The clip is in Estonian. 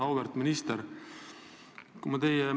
Auväärt minister!